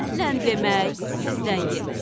Məndən demək, sizdən yemək.